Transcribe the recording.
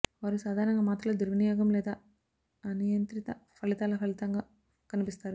వారు సాధారణంగా మాత్రలు దుర్వినియోగం లేదా అనియంత్రిత ఫలితాల ఫలితంగా కనిపిస్తారు